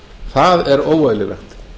það er óeðlilegt